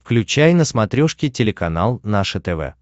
включай на смотрешке телеканал наше тв